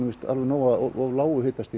alveg nóg af of lágu hitastigi